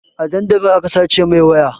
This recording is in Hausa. A dandali aka sace mai waya